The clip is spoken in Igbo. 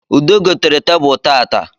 Ude gotere tebulu tata